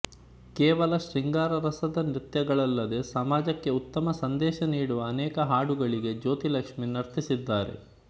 ಕೇವಲ ಶೃಂಗಾರ ರಸದ ನೃತ್ಯಗಳಲ್ಲದೇ ಸಮಾಜಕ್ಕೆ ಉತ್ತಮ ಸಂದೇಶ ನೀಡುವ ಅನೇಕ ಹಾಡುಗಳಿಗೆ ಜ್ಯೋತಿಲಕ್ಷ್ಮಿ ನರ್ತಿಸಿದ್ದಾರೆ